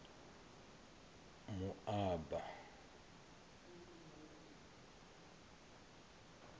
moaba